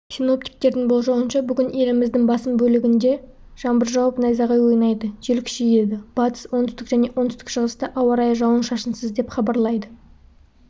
синоптиктердің болжауынша бүгін еліміздің басым бөлігінде жаңбыр жауып найзағай ойнайды жел күшейеді батыс оңтүстік және оңтүстік-шығыста ауа райы жауын-шашынсыз деп хабарлайды